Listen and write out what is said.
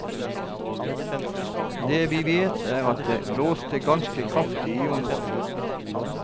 Det vi vet er at det blåste ganske kraftig i området.